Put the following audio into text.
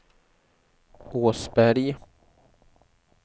Åsberg